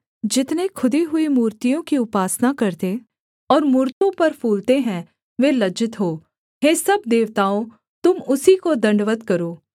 जितने खुदी हुई मूर्तियों की उपासना करते और मूरतों पर फूलते हैं वे लज्जित हों हे सब देवताओं तुम उसी को दण्डवत् करो